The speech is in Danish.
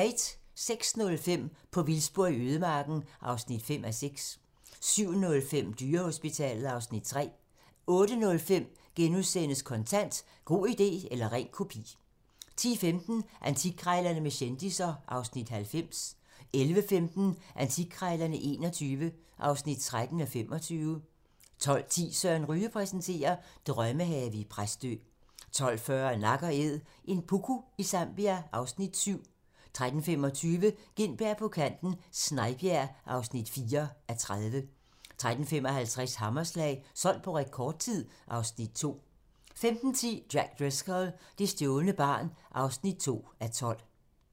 06:05: På vildspor i ødemarken (5:6) 07:05: Dyrehospitalet (Afs. 3) 08:05: Kontant: God idé eller ren kopi * 10:15: Antikkrejlerne med kendisser (Afs. 90) 11:15: Antikkrejlerne XXI (13:25) 12:10: Søren Ryge præsenterer: Drømmehave i Præstø 12:40: Nak & æd - en puku i Zambia (Afs. 7) 13:25: Gintberg på kanten - Snejbjerg (4:30) 13:55: Hammerslag - solgt på rekordtid (Afs. 2) 15:10: Jack Driscoll - det stjålne barn (2:12)